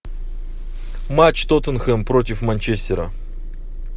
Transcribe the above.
матч тоттенхэм против манчестера